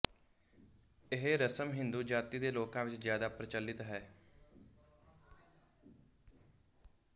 ਇਹ ਰਸਮ ਹਿੰਦੂ ਜਾਤੀ ਦੇ ਲੋਕਾਂ ਵਿੱਚ ਜ਼ਿਆਦਾ ਪ੍ਰਚਲਿਤ ਹੈ